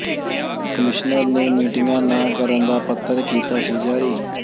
commissioner ਨੇ ਮੀਟਿੰਗਾਂ ਨਾ ਕਰਨ ਦਾ ਪੱਤਰ ਕੀਤਾ ਸੀ ਜਾਰੀ